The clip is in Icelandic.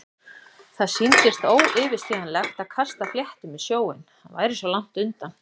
Það sýndist óyfirstíganlegt að kasta fléttum í sjóinn- hann væri svo langt undan.